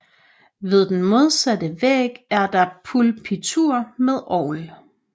Ved den modsatte væg er der pulpitur med orgel